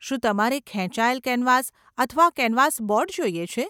શું તમારે ખેંચાયેલ કેનવાસ અથવા કેનવાસ બોર્ડ જોઈએ છે?